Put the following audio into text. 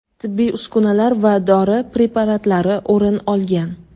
tibbiy uskunalar va dori preparatlari o‘rin olgan.